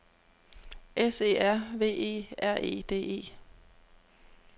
S E R V E R E D E